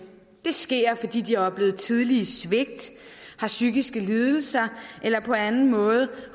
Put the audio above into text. det sker fordi de har oplevet tidlige svigt har psykiske lidelser eller på anden måde